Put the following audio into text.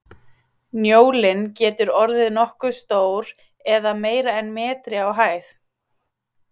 Njólinn getur orðið nokkuð stór eða meira en metri á hæð.